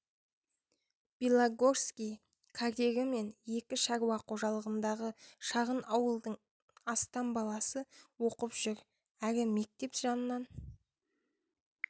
белогорский карьері мен екі шаруа қожалығындағы шағын ауылдың астам баласы оқып жүр әрі мектеп жанынан